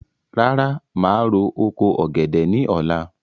Rárá, màá ro oko ọ̀gẹ̀dẹ̀ ní ọ̀la